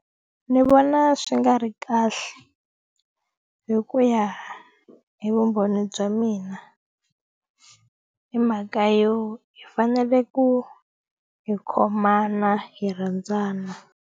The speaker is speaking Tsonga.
Ni vona swi nga ri kahle hi ku ya hi vumbhoni bya mina hi mhaka yo hi fanele ku hi khomana hi rhandzana.